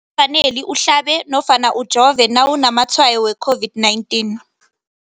faneli uhlabe nofana ujove nawu namatshayo we-COVID-19.